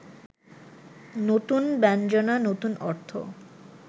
নতুন ব্যঞ্জনা, নতুন অর্থ